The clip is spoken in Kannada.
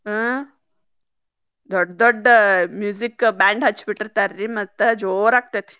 ಹಾ ದೊಡ್ಡ್ ದೊಡ್ಡ್ music band ಹಚ್ಚಿಬಿಟ್ಟಿರ್ತಾರ್ರೀ ಮತ್ತ್ ಜೋರ್ ಆಗ್ತೇತಿ.